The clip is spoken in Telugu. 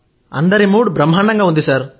అందరి మూడ్ బ్రహ్మాండంగా ఉంది